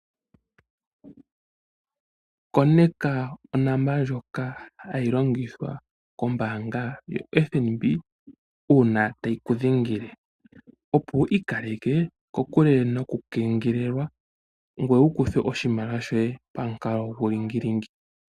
Koneka onomola ndjoka hayi longithwa ko FNB uuna tayi kudhengele opo wuyande okukengelelwa gwee kuukuthwe oshimaliwa shoye pamukalo guulingilingi.